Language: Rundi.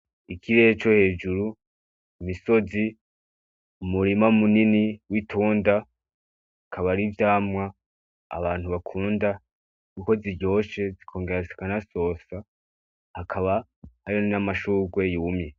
Ikirere co hejuru, imisozi umurima munini w'itunda hakaba ari vyamwa abantu bakunda kuko ziryoshe zikongera zikana sosa hakaba hariyo n'amashugwe yumye.